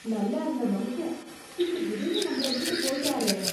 நல்லா இருந்த மனுஷன். இப்படி திடீர்னு நம்மள விட்டுட்டு போயிட்டாரே